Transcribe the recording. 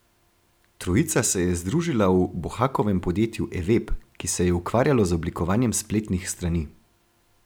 Trojica se je združila v Bohakovem podjetju Eveb, ki se je ukvarjalo z oblikovanjem spletnih strani.